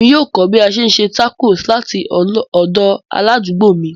Emi yoo kọ bi a ṣe n se tacos lati ọdọ aladugbo mi.